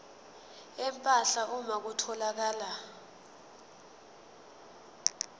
empahla uma kutholakala